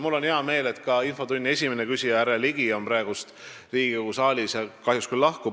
Mul on hea meel, et ka infotunni esimene küsija härra Ligi on praegu Riigikogu saalis, kahjuks ta küll lahkub.